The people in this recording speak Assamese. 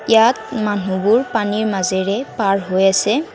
ইয়াত মানুহবোৰ পানীৰ মাজেৰে পাৰ হৈ আছে।